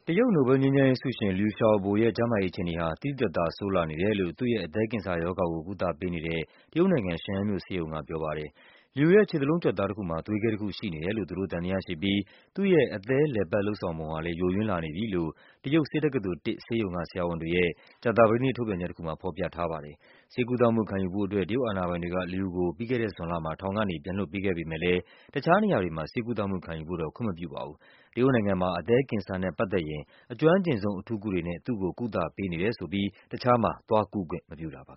တရုတ် နိုဘဲလ်ငြိမ်းချမ်းရေးဆုရှင် Liu Xiaobo ရဲ့ ကျန်းမာရေးအခြေအနေဟာ သိသိသာသာ ဆိုးလာနေတယ်လို့ သူ့ရဲ့ အသည်းကင်ဆာရောဂါကို ကုသပေးနေတဲ့ တရုတ်နိုင်ငံ၊ ရှန်ယန်းမြို့ ဆေးရုံကပြောပါတယ်။ Liu ရဲ့ ခြေသလုံးကြွက်သားတခုမှာ သွေးခဲတခုရှိနေတယ်လို့ သူတို့သံသယရှိပြီး သူ့ရဲ့ အသည်း လည်ပတ် လုပ်ဆောင်ပုံဟာလဲ ယိုယွင်းလာနေပြီလိ့ု တရုတ် ဆေးတက္ကသိုလ် ၁ ဆေးရုံက ဆရာဝန်တွေရဲ့ ကြာသပတေးနေ့ ထုတ်ပြန်ချက်တခုမှာ ဖော်ပြထားပါ တယ်။ ဆေးကုသမှုခံယူဖို့အတွက် တရုတ်အာဏာပိုင်တွေက Liu ကို ပြီးခဲ့တဲ့ဇွန်လမှာ ထောင်ကနေ ပြန်လွှတ်ပေးခဲ့ပေမဲ့လဲ တခြားနေရာတွေမှာ ဆေးကုသမှုခံယူဖို့ ခွင့်မပြုခဲ့ပါဘူး။ တရုတ်နိုင်ငံမှာ အသည်းကင်ဆာနဲ့ပတ်သက်ရင် အကျွမ်းကျင်ဆုံး အထူးကုတွေနဲ့ သူ့ကို ကုသပေးနေတယ်ဆိုပြီး တခြားမှာသွားကုခွင့်မပြုတာပါ